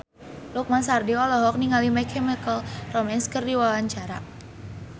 Lukman Sardi olohok ningali My Chemical Romance keur diwawancara